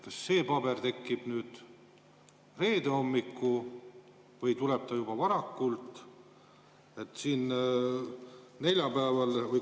Kas see paber tekib nüüd reede hommikul või tuleb ta juba varakult, neljapäeval?